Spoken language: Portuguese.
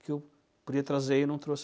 Que eu podia trazer e não trouxe.